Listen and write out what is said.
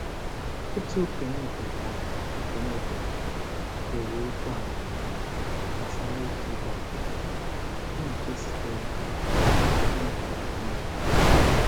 Otu okenye obodo ahụ okenye obodo ahụ kere okwu amamiihe gbasara ịkụ ihe ọkụkụ, bụ nke sitere n'omenala ekwumekwu.